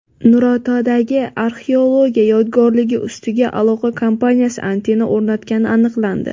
Nurotadagi arxeologiya yodgorligi ustiga aloqa kompaniyasi antenna o‘rnatgani aniqlandi.